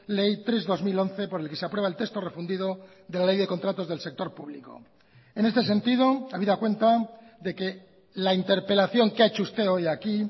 ley tres barra dos mil once por el que se aprueba el texto refundido de la ley de contratos del sector público en este sentido habida cuenta de que la interpelación que ha hecho usted hoy aquí